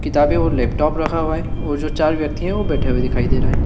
किताबें और लैपटॉप रखा हुआ है वो जो चार व्यक्तियां है वो बैठे हुए दिखाई दे रहे।